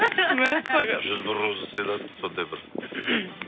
мәссаған жүз бір роза сыйладық сондай бір